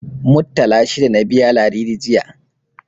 Muttala shida na biya Ladidi, jiya.